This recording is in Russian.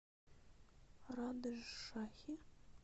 раджшахи